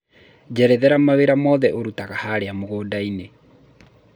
njerethera mawĩra mothe ũrutanga harĩa mũgũnda-inĩ